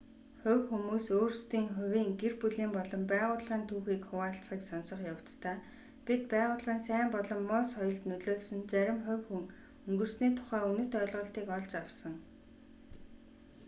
хувь хүмүүс өөрсдийн хувийн гэр бүлийн болон байгууллагын түүхийг хуваалцахыг сонсох явцдаа бид байгууллагын сайн болон муу соёлд нөлөөлсөн зарим хувь хүн өнгөрсөний тухай үнэт ойлголтыг олж авсан